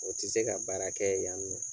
O tɛ se ka baara kɛ yan ni nɔ